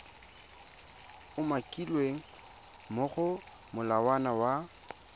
umakilweng mo go molawana wa